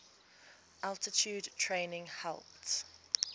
altitude training helped